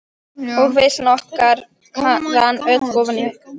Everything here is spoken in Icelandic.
Og veislan okkar rann öll ofan í ykkur.